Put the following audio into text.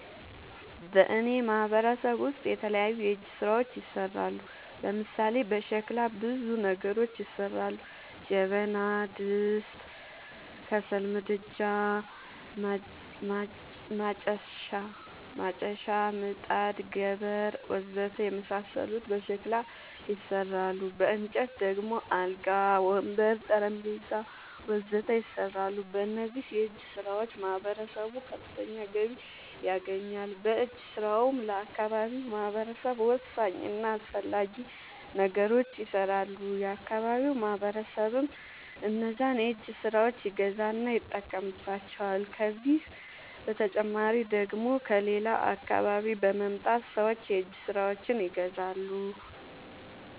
በእኔ ማህበረሰብ ውስጥ የተለያዩ የእጅ ስራዎች ይሠራሉ። ለምሳሌ፦ በሸክላ ብዙ ነገሮች ይሠራሉ። ጀበና፣ ድስት፣ ከሰል ምድጃ፣ ማጨሻ፣ ምጣድ፣ ገበር... ወዘተ የመሣሠሉት በሸክላ ይሠራሉ። በእንጨት ደግሞ አልጋ፣ ወንበር፣ ጠረንጴዛ..... ወዘተ ይሠራሉ። በእነዚህም የእጅስራዎች ማህበረሰቡ ከፍተኛ ገቢ ያገኛል። በእጅ ስራውም ለአካባቢው ማህበረሰብ ወሳኝ እና አስፈላጊ ነገሮች ይሠራሉ። የአካባቢው ማህበረሰብም እነዛን የእጅ ስራዎች ይገዛና ይጠቀምባቸዋል። ከዚህ በተጨማሪ ደግሞ ከሌላ አካባቢ በመምጣት ሠዎች የእጅ ስራዎቸችን ይገዛሉ።